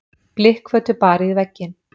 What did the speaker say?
Blikkfötu barið í vegginn.